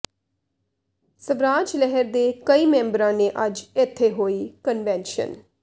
ਸਵਰਾਜ ਲਹਿਰ ਦੇ ਕਈ ਮੈਂਬਰਾਂ ਨੇ ਅੱਜ ਇੱਥੇ ਹੋਈ ਕਨਵੈਨਸ਼ਨ